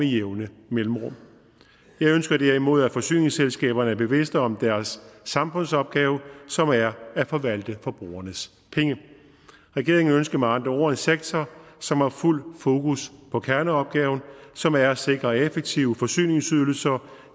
jævne mellemrum jeg ønsker derimod at forsyningsselskaberne er bevidst om deres samfundsopgave som er at forvalte forbrugernes penge regeringen ønsker med andre ord en sektor som har fuld fokus på kerneopgaven som er at sikre effektive forsyningsydelser